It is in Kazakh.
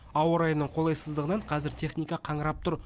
ауа райының қолайсыздығынан қазір техника қаңырап тұр